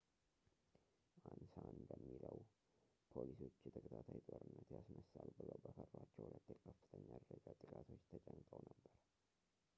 አንሳ እንደሚለው ፖሊሶች የተከታታይ ጦርነት ያስነሳል ብለው በፈሯቸው ሁለት የከፍተኛ ደረጃ ጥቃቶች ተጨንቀው ነበር